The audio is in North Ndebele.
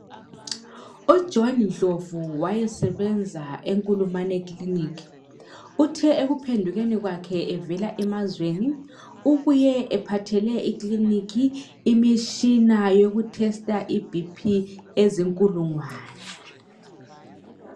UJohn Ndlovu wayesebenza eNkulumane clinic, uthe ekuphendukeni kwakhe evela emazweni, ubuye ephathele ikliniki imishina yokuthesta iBP ezinkulungwane.